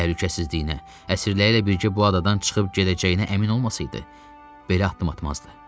Təhlükəsizliyinə, əsirləri ilə birgə bu adadan çıxıb gedəcəyinə əmin olmasaydı, belə addım atmazdı.